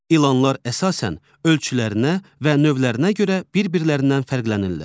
İlanlar əsasən ölçülərinə və növlərinə görə bir-birlərindən fərqlənirlər.